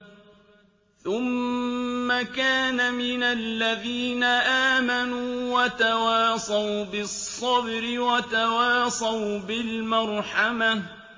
ثُمَّ كَانَ مِنَ الَّذِينَ آمَنُوا وَتَوَاصَوْا بِالصَّبْرِ وَتَوَاصَوْا بِالْمَرْحَمَةِ